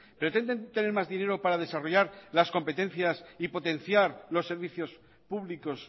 pretenden tener más dinero para desarrollar las competencias y potenciar los servicios públicos